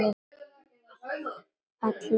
Allra vegna.